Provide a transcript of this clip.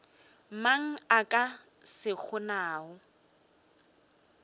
mang a ka se kgonago